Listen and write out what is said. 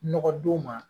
Nɔgɔ don ma